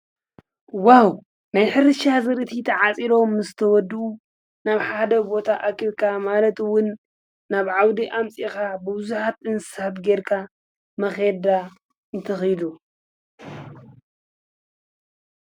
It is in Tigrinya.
ዋው ማይ ኅሪሻዝርይትኺሉተዓጺሎ ምስ ተወዱ ናብ ሓደ ቦታ ኣኪልካ ማለትውን ናብ ዓውዲ ኣምጺኻ ብውዙኃት እንስሃብ ጌርካ መኼዳ ይትኺሉ።